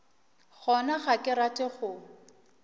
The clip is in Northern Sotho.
gona ga ke rate go